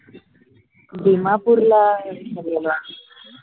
दिमापूरला उतरलेली आम्ही